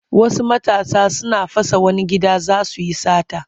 Wasu matasa suna fasa wani gida za su yi sata.